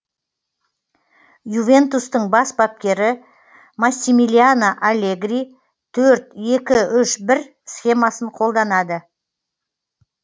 ювентустың бас бапкері массимилиано аллегри төрт екі үш бір схемасын қолданады